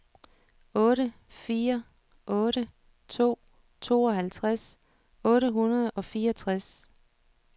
otte fire otte to tooghalvtreds otte hundrede og fireogtres